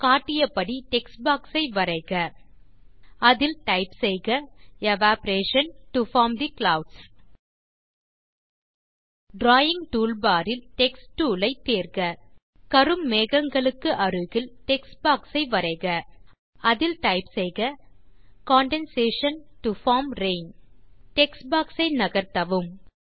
காட்டிய படி text box ஐ வரைக அதில் டைப் செய்க evaporation to form the clouds drawing toolbar இல் டெக்ஸ்ட் டூல் ஐ தேர்க கரும் மேகங்களுக்கு அருகில் டெக்ஸ்ட் பாக்ஸ் ஐ வரைக அதில் டைப் செய்க condensation to form rain text box ஐ நகர்த்தவும்